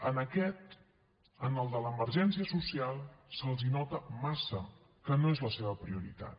en aquest en el de l’emergència social se’ls nota massa que no és la seva prioritat